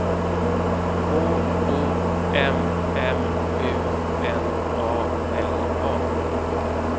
K O M M U N A L A